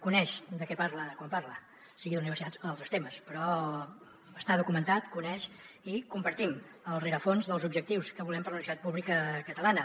coneix de què parla quan parla sigui d’universitats o d’altres temes però està documentat coneix i compartim el rerefons dels objectius que volem per a la universitat pública catalana